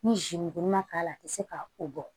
Ni zi ma k'a la a te se ka o bɔ